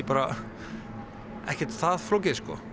bara ekkert það flókið